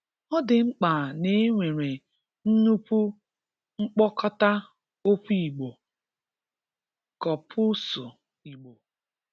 Ọ dị mkpa na e nwere nnukwu mkpokọta okwu Igbo (Kọpuusu Igbo).